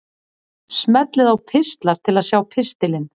Smellið á Pistlar til að sjá pistilinn.